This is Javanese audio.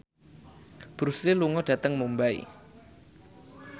Bruce Lee lunga dhateng Mumbai